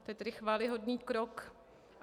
To je tedy chvályhodný krok.